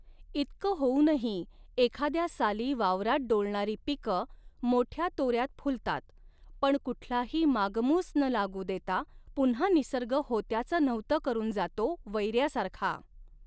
इतकं होऊनही एखाद्या साली वावरात डोलणारी पीकं मोठ्या तोऱ्यात फुलतात पण कुठलाही मागमूस न लागू देता पुन्हा निसर्ग होत्याचं नव्हतं करून जातो वैऱ्यासारखा.